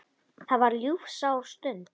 Það var ljúfsár stund.